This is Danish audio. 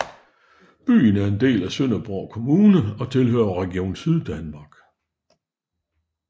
Byen er en del af Sønderborg Kommune og tilhører Region Syddanmark